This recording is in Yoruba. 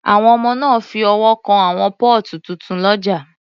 Àwọn ọmọ náà fi ọwọ́ kan àwọn póòtù tuntun lọ́jà